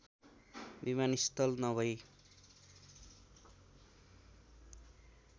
विमानस्थल नभई